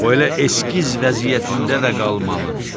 O elə eskiz vəziyyətində də qalmalıdır.